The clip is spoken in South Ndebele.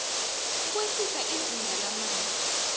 ukwehlisa izinga lamanzi